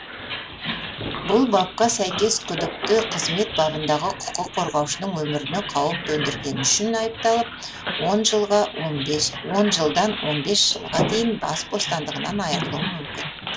бұл бапқа сәйкес күдікті қызмет бабындағы құқық қорғаушының өміріне қауіп төндіргені үшін айыпталып он жылдан он бес жылға дейін бас бостандығынан айырылуы мүмкін